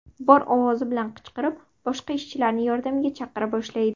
Bor ovozi bilan qichqirib, boshqa ishchilarni yordamga chaqira boshlaydi.